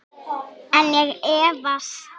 En ég efast.